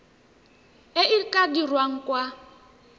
e e tla dirwang kwa